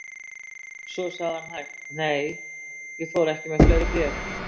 Svo sagði hann hægt: Nei, ég fór ekki með fleiri bréf.